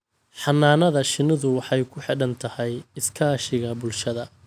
Xannaanada shinnidu waxay ku xidhan tahay iskaashiga bulshada.